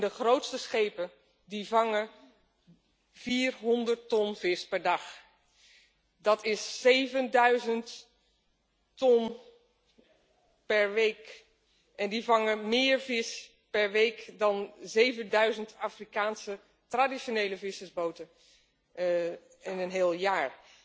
De grootste schepen vangen 400 ton vis per dag dat is 7000 ton per week. Die vangen meer vis per week dan 7000 Afrikaanse traditionele vissersboten in een heel jaar.